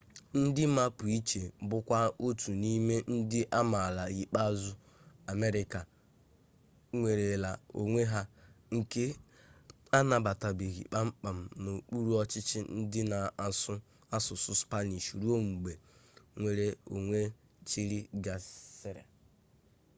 ndị mapuche bụkwa otu n'ime ndị amaala ikpeazụ amerịka nwerela onwe ha nke anabatabeghị kpam kpam n'okpuru ọchịchị ndị na-asụ asụsụ spanish ruo mgbe nnwere onwe chile gasịrị